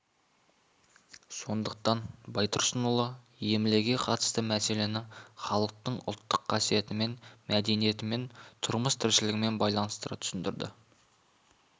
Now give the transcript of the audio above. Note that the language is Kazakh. сондықтан байтұрсынұлы емлеге қатысты мәселені халықтың ұлттық қасиетімен мәдениетімен тұрмыс-тіршілігімен байланыстыра түсіндірді